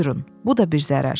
Buyurun, bu da bir zərər.